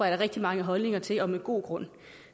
er rigtig mange holdninger til og med god grund